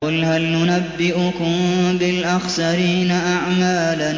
قُلْ هَلْ نُنَبِّئُكُم بِالْأَخْسَرِينَ أَعْمَالًا